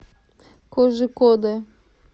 кожикоде